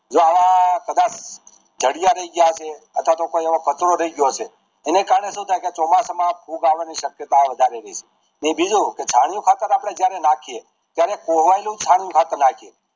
જયા આવા પદાર્થ જાડિયા રહી ગયા છે અથવા તો કોઈ એવો કચરો રહી ગયો છે એના કારણે શું થાય કે ચોમાસા માં ફૂગ આવાની શક્યતા વધારે રહે છે બીજું છાણીયું ખાતર જયારે નાખીએ ત્યારે કોહવાયેલું સારું